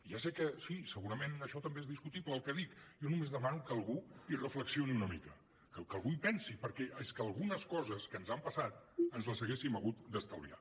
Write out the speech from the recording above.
ja sé que sí segurament això també és discutible el que dic jo només demano que algú hi reflexioni una mica que algú hi pensi perquè és que algunes coses que ens han passat ens les haguéssim hagut d’estalviar